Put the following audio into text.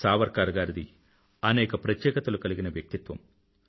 సావర్కర్ గారిది అనేక ప్రత్యేకతలు కలిగిన వ్యక్తిత్వం